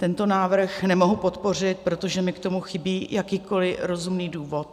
Tento návrh nemohu podpořit, protože mi k tomu chybí jakýkoliv rozumný důvod.